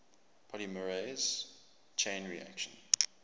polymerase chain reaction